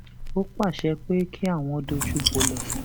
ó pàṣẹ pé kí àwọn dojú bolẹ